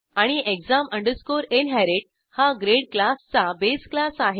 आणि exam inherit हा grade क्लासचा बेस क्लास आहे